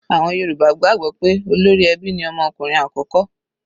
Àwọn Yorùbá gbàgbọ́ pé olórí ẹbí ni ọmọ ọkùnrin àkọ́kọ́.